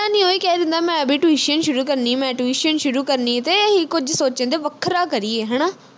ਕੋਈ ਵੀ ਕਹਿ ਦਿੰਦਾ ਮੈਂ ਵੀ tuition ਸ਼ੁਰੂ ਕਰਨੀ ਮੈਂ tuition ਸ਼ੁਰੂ ਕਰਨੀ ਤੇ ਅਹੀਂ ਕੁਝ ਸੋਚਣ ਦੇ ਵੱਖਰਾ ਕਰੀਏ ਹਣਾ